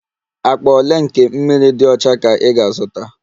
Akpa ole nke mmiri dị ọcha ka ị ga-azụta?